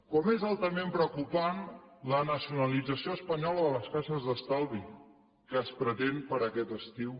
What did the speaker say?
com és altament preocupant la nacionalització espanyola de les caixes d’estalvi que es pretén per a aquest estiu